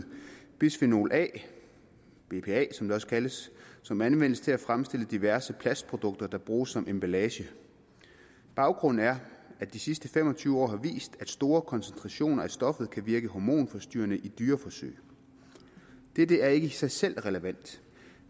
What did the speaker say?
bisfenol a bpa som det også kaldes som anvendes til at fremstille diverse plastprodukter der bruges som emballage baggrunden er at de sidste fem og tyve år har vist at store koncentrationer af stoffet kan virke hormonforstyrrende i dyreforsøg dette er ikke i sig selv relevant